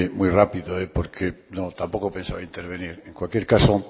muy rápido porque tampoco pensaba intervenir en cualquier caso